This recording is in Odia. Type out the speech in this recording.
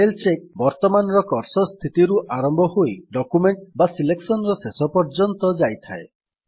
ସ୍ପେଲ୍ ଚେକ୍ ବର୍ତ୍ତମାନର କର୍ସର୍ ସ୍ଥିତିରୁ ଆରମ୍ଭ ହୋଇ ଡକ୍ୟୁମେଣ୍ଟ୍ ବା ସିଲେକ୍ସନ୍ ର ଶେଷ ପର୍ଯ୍ୟନ୍ତ ଏହା ଯାଇଥାଏ